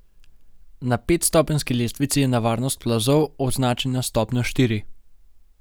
Na petstopenjski lestvici je nevarnost plazov označena s stopnjo štiri.